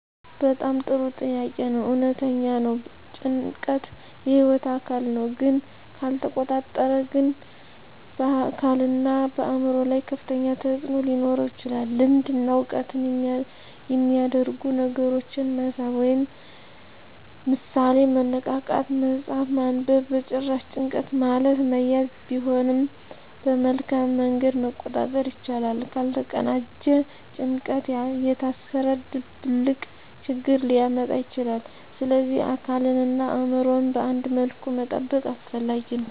በጣም ጥሩ ጥያቄ ነው። እውነተኛ ነው — ጭንቀት የህይወት አካል ነው፣ ግን ካልተቆጣጠረ ግን በአካልና በአእምሮ ላይ ከፍተኛ ተፅዕኖ ሊኖረው ይችላል። ልምድ እና ዕውቀት የሚያደርጉ ነገሮችን መሳብ (ምሳሌ፦ መነቃቃት፣ መጽሐፍ ማንበብ) በጭራሽ፣ ጭንቀት ማለት መያዝ ቢሆንም በመልካም መንገድ መቆጣጠር ይቻላል። ካልተቀናጀ ጭንቀት የታሰረ ድብልቅ ችግር ሊያመጣ ይችላል፣ ስለዚህ አካልንና አእምሮን በአንድ መልኩ መጠበቅ አስፈላጊ ነው።